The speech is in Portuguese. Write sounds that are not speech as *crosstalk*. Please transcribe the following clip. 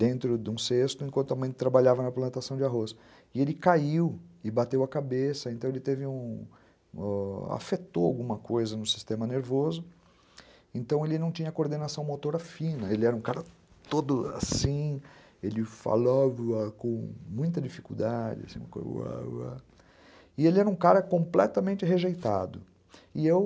dentro de um cesto enquanto a mãe trabalhava na plantação de arroz e ele caiu e bateu a cabeça, então ele *unintelligible* teve um afetou alguma coisa no sistema nervoso. Então ele não tinha coordenação motora fina. Ele era um cara todo assim, ele falava com muita dificuldade e ele era um cara completamente rejeitado. E eu,